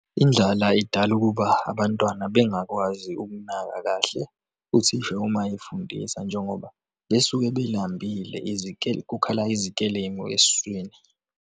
Indlala idala ukuba abantwana bengakwazi ukunaka kahle uthisha uma efundisa njengoba besuke belambile, kukhala izikelemu eswini.